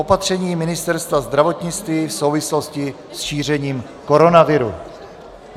Opatření Ministerstva zdravotnictví v souvislosti s šířením koronaviru